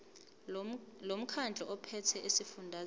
lomkhandlu ophethe esifundazweni